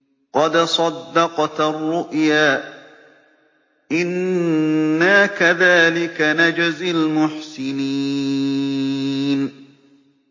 قَدْ صَدَّقْتَ الرُّؤْيَا ۚ إِنَّا كَذَٰلِكَ نَجْزِي الْمُحْسِنِينَ